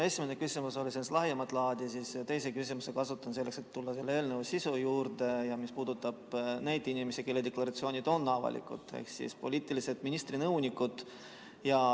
Mu esimene küsimus oli sellist lahjemat laadi, aga teise küsimuse kasutan selleks, et tulla selle eelnõu sisu juurde, mis puudutab neid inimesi, kelle deklaratsioonid on avalikud, ehk ministrite poliitilised nõunikud.